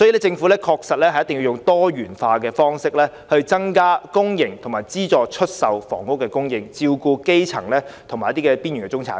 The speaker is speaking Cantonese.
政府確實要採用多元化方式，增加公營和資助出售房屋的供應，照顧基層及邊緣中產市民。